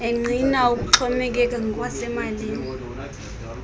engqina ukuxhomekeka ngokwasemalini